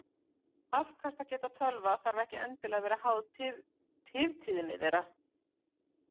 Afkastageta tölva þarf ekki endilega að vera háð tiftíðni þeirra.